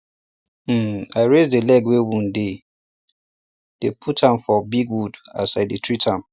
um i raise the leg wey wound dey dey put am for um big wood as i dey treat am